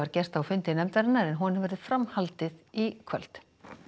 gert á fundi nefndarinnar en honum verður framhaldið í kvöld